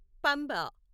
Pamba